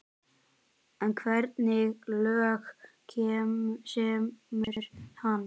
En hvernig lög semur hann?